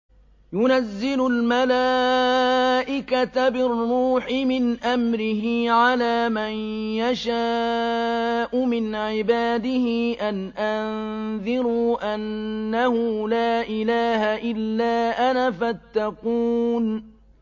يُنَزِّلُ الْمَلَائِكَةَ بِالرُّوحِ مِنْ أَمْرِهِ عَلَىٰ مَن يَشَاءُ مِنْ عِبَادِهِ أَنْ أَنذِرُوا أَنَّهُ لَا إِلَٰهَ إِلَّا أَنَا فَاتَّقُونِ